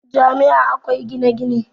Jami' a akwai gine-gine